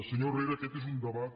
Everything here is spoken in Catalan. senyor herrera aquest és un debat